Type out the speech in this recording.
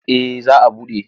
Eh za a buɗe.